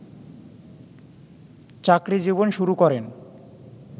চাকরি জীবন শুরু করেন